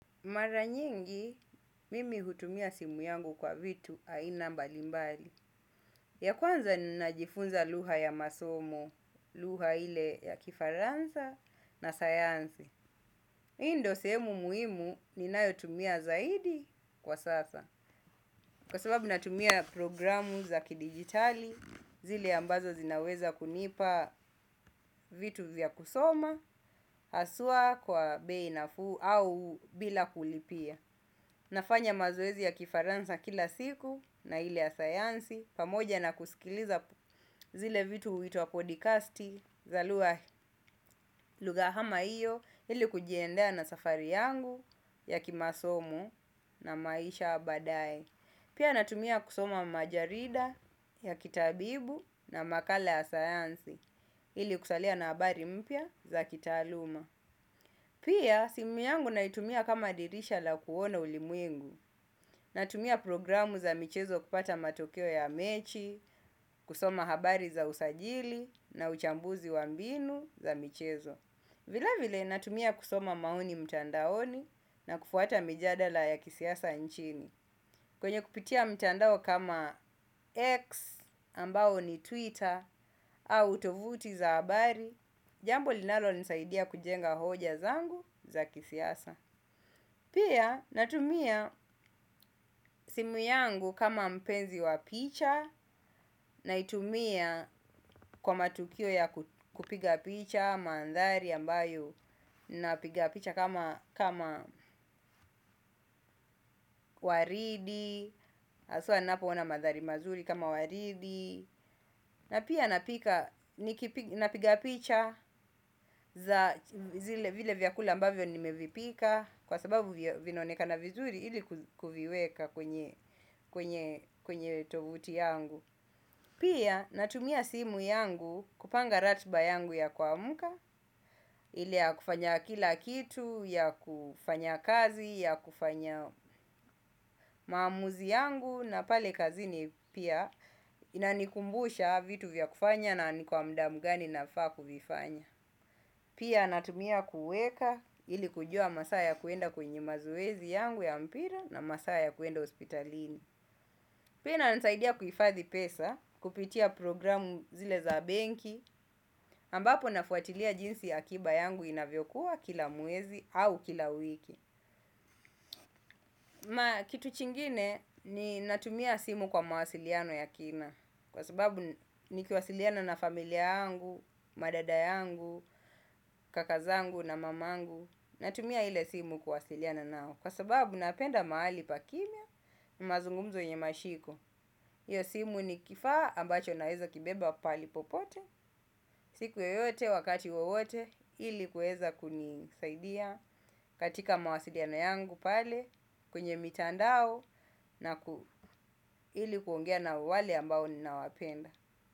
Mara nyingi, mimi hutumia simu yangu kwa vitu aina mbali mbali. Ya kwanza ninajifunza lugha ya masomo, lugha ile ya kifaransa na sayansi. Hii ndio sehemu muhimu, ninayotumia zaidi kwa sasa. Kwa sababu natumia programu za kidigitali, zile ambazo zinaweza kunipa vitu vya kusoma, haswa kwa bei nafuu au bila kulipia. Nafanya mazoezi ya kifaransa kila siku na ile ya sayansi pamoja na kusikiliza zile vitu huitwa podcasti za lugha lugha kama hiyo ili kujiendea na safari yangu ya kimasomo na maisha ya badae. Pia natumia kusoma majarida ya kitabibu na makala ya sayansi ili kusalia na habari mpya za kitaaluma. Pia, simu yangu naitumia kama dirisha la kuona ulimwengu, natumia programu za michezo kupata matokeo ya mechi, kusoma habari za usajili na uchambuzi wa mbinu za michezo. Vilevile natumia kusoma maoni mitandaoni na kufuata mijadala ya kisiasa nchini kwenye kupitia mtandao kama X ambayo ni twitter au tovuti za habari. Jambo linalonisaidia kujenga hoja zangu za kisiasa. Pia natumia simu yangu kama mpenzi wa picha. Naitumia kwa matukio ya kupiga picha, mandhari ambayo napiga picha kama kama waridi haswa ninapoona mandhari mazuri kama waridi. Na pia napiga picha za zile vile vyakula ambavyo nimevipika. Kwa sababu vinaonekana vizuri ili kuziweka kwenye tovuti yangu. Pia natumia simu yangu kupanga ratiba yangu ya kuamka. Ile ya kufanya kila kitu, ya kufanya kazi, ya kufanya maamuzi yangu. Na pale kazini pia inanikumbusha vitu vya kufanya na ni kwa muda mgani nafaa kuvifanya. Pia natumia kuweka ili kujua masaa ya kuenda kwenye mazoezi yangu ya mpira na masaa ya kuenda hospitalini. Pia inasaidia kuhifadhi pesa kupitia programu zile za benki ambapo nafuatilia jinsi akiba yangu inavyokuwa kila mwezi au kila wiki na kitu chingine ninatumia simu kwa mawasiliano ya kina. Kwa sababu nikiwasiliana na familia yangu, madada yangu, kaka zangu na mama yangu. Natumia ile simu kuwasiliana nao. Kwa sababu napenda mahali pa kimya, mazungumzo yenye mashiko pia simu ni kifaa ambacho naweza kibeba pali popote. Siku yoyote, wakati wowote, ili kuweza kunisaidia. Katika mawasiliano yangu pale, kwenye mitandao. Na ili kuongea na wale ambao ninawapenda.